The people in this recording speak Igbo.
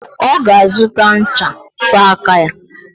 Oga azuta ncha sa aka ya.